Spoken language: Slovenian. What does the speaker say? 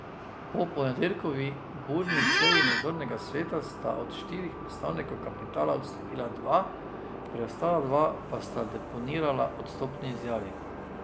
Po ponedeljkovi burni seji nadzornega sveta sta od štirih predstavnikov kapitala odstopila dva, preostala dva pa sta deponirala odstopni izjavi.